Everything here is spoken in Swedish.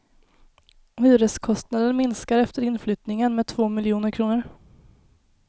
Hyreskostnaden minskar efter inflyttningen med två miljoner kronor.